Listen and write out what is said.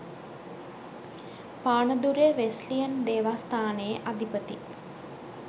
පානදුරේ Wesleyan දේවස්ථානයේ අධිපති